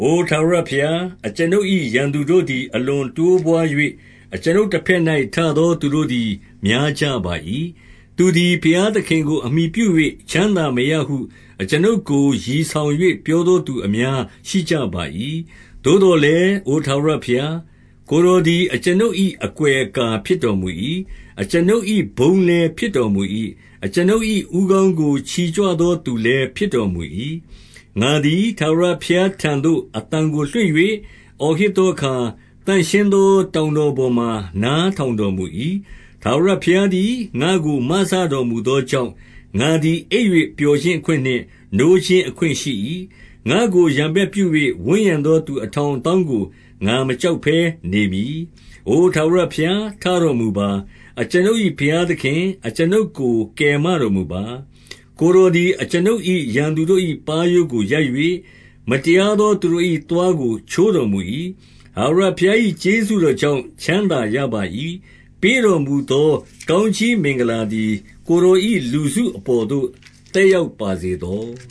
အိုထာဝရဘုရား၊ အကျွန်ုပ်၏ရန်သူတို့သည်၊ အလွန်တိုးပွါး၍၊ အကျွန်ုပ်တဘက်၌ ထသောသူတို့သည် များကြပါ၏။ သူသည်ဘုရားသခင်ကို အမှီပြု၍ချမ်းသာမရဟု အကျွန်ုပ်ကို ရည်ဆောင်၍ ပြောသောသူ အများ ရှိကြပါ၏။ သို့သော်လည်း၊ အိုထာဝရဘုရား၊ ကိုယ်တော် သည် အကျွန်ုပ်၏အကွယ်အကာဖြစ်တော်မူ၏။ အကျွန်ုပ် ၏ ဘုန်းလည်းဖြစ်တော်မူ၏။ အကျွန်ုပ်၏ဦးခေါင်းကို ချီကြွသော သူလည်းဖြစ်တော်မူ၏။ ငါသည် ထာဝရဘုရားထံသို့ အသံကိုလွှင့်၍ အော်ဟစ်သောအခါ၊ သန့်ရှင်းသော တောင်တော်ပေါ်မှာ နားထောင်တော်မူ၏။ ထာဝရဘုရားသည် ငါ့ကိုမစတော်မူသော ကြောင့်၊ ငါသည် အိပ်၍ ပျော်ခြင်းအခွင့်နှင့် နိုးခြင်း အခွင့်ရှိ၏။ ငါ့ကိုရန်ဘက်ပြု၍ ဝန်းရံသော သူအထောင် အသောင်းကို ငါမကြောက်ဘဲနေမည်။ အိုထာဝရဘုရားထတော်မူပါ။ အကျွန်ုပ်၏ ဘုရားသခင်၊ အကျွန်ုပ်ကို ကယ်မတော်မူပါ။ ကိုယ်တော် သည် အကျွန်ုပ်၏ ရန်သူတို့၏ ပါးရိုးကိုရိုက်၍၊ မတရား သောသူတို့၏ သွားကိုချိုးတော်မူ၏။ ထာဝရဘုရား၏ ကျေးဇူးတော်ကြောင့် ချမ်း သာရပါ၏။ ပေးတော်မူသော ကောင်းကြီးမင်္ဂလာသည် ကိုယ်တော်၏ လူစုအပေါ်သို့ သက်ရောက်ပါစေသော။